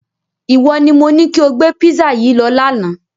Iwọ ni mo ni kí o gbé písà yìí lọ lána!